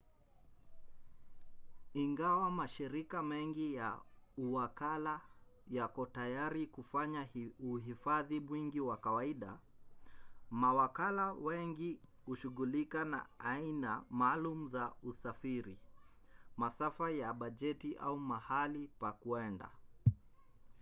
ingawa mashirika mengi ya uwakala yako tayari kufanya uhifadhi mwingi wa kawaida mawakala wengi hushughulika na aina maalum za usafiri masafa ya bajeti au mahali pa kwenda